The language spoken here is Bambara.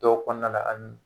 Dɔw kɔnɔna na ani